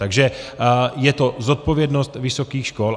Takže je to zodpovědnost vysokých škol.